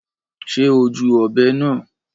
Ṣe o júù ọbẹ náà?